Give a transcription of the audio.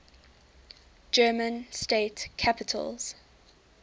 german state capitals